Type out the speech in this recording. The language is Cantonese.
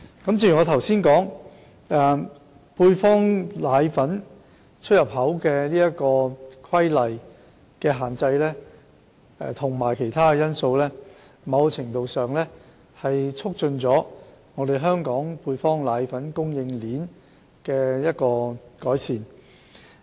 正如我剛才表示，《規例》對配方粉出入口的限制及其他因素，在某程度上改善了香港配方粉供應鏈。